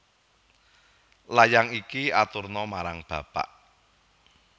Layang iki aturna marang bapak